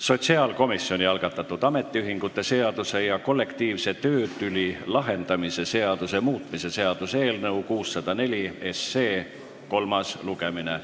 Sotsiaalkomisjoni algatatud ametiühingute seaduse ja kollektiivse töötüli lahendamise seaduse muutmise seaduse eelnõu 604 kolmas lugemine.